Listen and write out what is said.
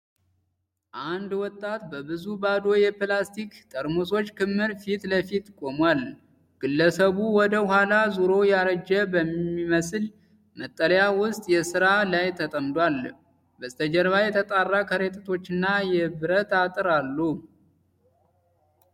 አንድ ወጣት በብዙ ባዶ የፕላስቲክ ጠርሙሶች ክምር ፊት ለፊት ቆሟል። ግለሰቡ ወደ ኋላ ዞሮ ያረጀ በሚመስል መጠለያ ውስጥ ሥራ ላይ ተጠምዷል። በስተጀርባ የተጣራ ከረጢቶችና የብረት አጥር አሉ።